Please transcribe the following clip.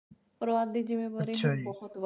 ਭਰਾ ਦੀ ਜਿੰਮੇਵਾਰੀ ਬਹੁਤ